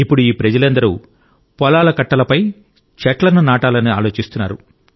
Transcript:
ఇప్పుడు ఈ ప్రజలందరూ పొలాల కట్టలపై చెట్లను నాటాలని ఆలోచిస్తున్నారు